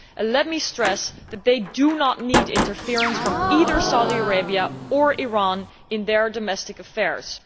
Let me stress that they do not need interference from either Saudi Arabia or Iran in their domestic affairs.